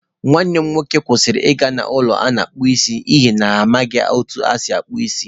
Nwanne m nwoke kwụsịrị ịga n’ụlọ a na-akpụ isi n’ihi na ha amaghị otú e si akpụ isi.